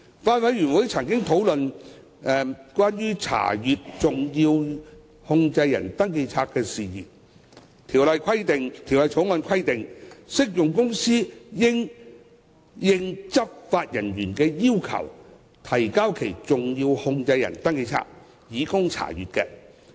法案委員會曾經討論關於查閱登記冊的事宜，《條例草案》規定，適用公司應按執法人員的要求，提交其登記冊以供查閱。